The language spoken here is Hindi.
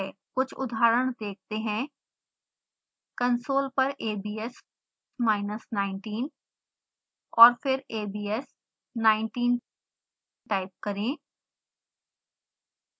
कुछ उदाहरण देखते हैं कंसोल पर a b s minus 19 और फिर a b s 19 टाइप करें